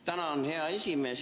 Tänan, hea esimees!